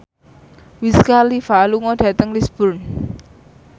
Wiz Khalifa lunga dhateng Lisburn